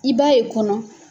I b'a yen kɔnɔ.